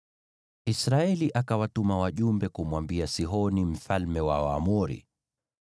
Israeli akawatuma wajumbe kumwambia Sihoni mfalme wa Waamori: